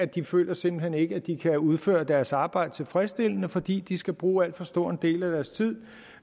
de føler simpelt hen at de ikke kan udføre deres arbejde tilfredsstillende fordi de skal bruge alt for stor en del af deres tid